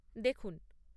দেখুন।